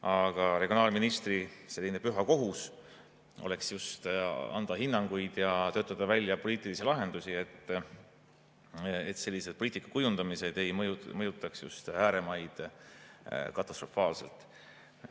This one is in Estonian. Aga regionaalministri püha kohus oleks just anda hinnanguid ja töötada välja poliitilisi lahendusi, et selline poliitika kujundamine ei mõjutaks ääremaid katastrofaalselt.